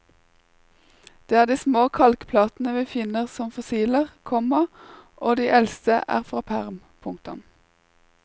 Det er de små kalkplatene vi finner som fossiler, komma og de eldste er fra perm. punktum